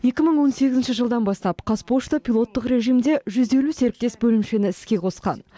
екі мың он сегізінші жылдан бастап қазпошта пилоттық режимде жүз елу серіктес бөлімшені іске қосқан